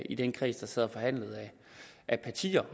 i den kreds af partier